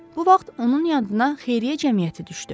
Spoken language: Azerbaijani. Bu vaxt onun yadına Xeyriyyə Cəmiyyəti düşdü.